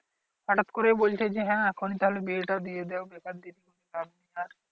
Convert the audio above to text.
হঠাত করেই বলছে যে হ্যা এখন তাহলে বিয়ে টা দিয়ে দেওক